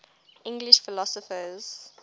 english philosophers